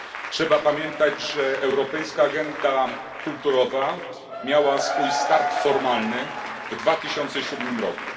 Trzeba pamiętać, że europejska agenda kulturowa miała swój start formalny w 2007 roku.